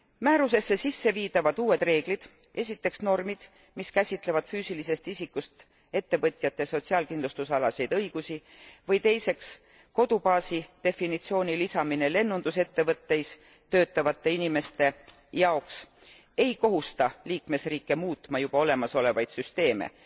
Määrusesse sisse viidavad uued reeglid, esiteks normid, mis käsitlevad füüsilisest isikust ettevõtjate sotsiaalkindlustusalaseid õigusi, või teiseks, kodubaasi definitsiooni lisamine lennundusettevõtteis töötavate inimeste jaoks, ei kohusta liikmesriike muutma juba olemasolevaid süsteeme.